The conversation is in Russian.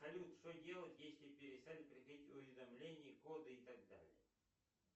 салют что делать если перестали приходить уведомления коды и так далее